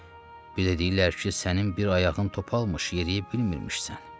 Bir də deyirlər ki, sənin bir ayağın topalmış, yeriyə bilmirmişsən.